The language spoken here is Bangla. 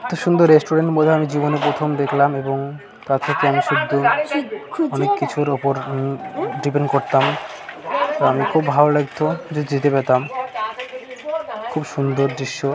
সুন্দর রেস্টুরেন্ট বলে আমি জীবনে প্রথম দেখলাম ।এবং তার থেকে আমি শুধু অনেক কিছুর উপর ডিপেন্ড করতাম ।আমি খুব ভালো লাগতো যে যেতে পেতাম খুব সুন্দর দৃশ্য- -।